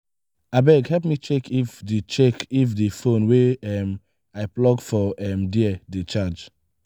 abeg help me check if di check if di fone wey um i plug for um there dey charge.